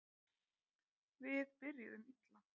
Við byrjuðum illa